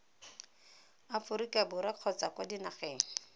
aforika borwa kgotsa kwa dinageng